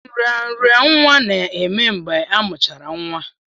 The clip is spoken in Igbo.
Nraranye nwa na-eme mgbe amuchara nwa.